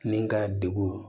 Ni ka degun